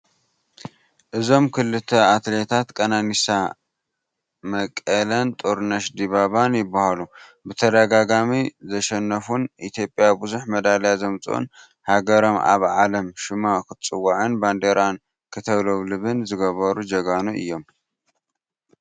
እዞም ክልተ ኣትሌት ቀናኒሳ መቀለን ጥሩነሽ ዲባባን ይበሃሉ ን ብተደጋጋሚ ዘሸነፉን ኢ/ ያ ብዙሕ መዳልያ ዘምፅኡን ሃገሮም ኣብ ዓለም ሹማ ክትፅዋዕን ባንዴራኣ ክተውለብልብን ዝገበሩ ጀጋኑ እዮም ።